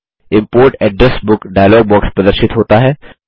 import address book dialog box प्रदर्शित होता है